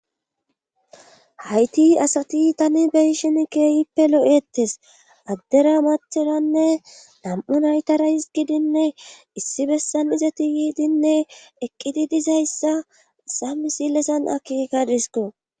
Hayti asati tani beyshin keeyippe lo,ettes addera mathenanne nam,u naytara his gidinne issi bessan izati yiidinne eqqidi dizayssa sammi sillesan akeka disko.